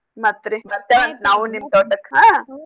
ಮತ್ರಿ ಬರ್ತೇವಂತ ನಾವು ನಿಮ್ ತೋಟಕ್ ಹಾ.